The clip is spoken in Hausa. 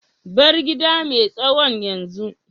bar gida mai tsawon yanzu.